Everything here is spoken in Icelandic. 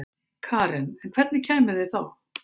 Karen: En hvernig kæmuð þið þá?